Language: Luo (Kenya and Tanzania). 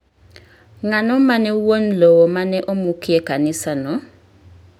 Ng'ano mane wuon lowo ma ne omukie kanisano?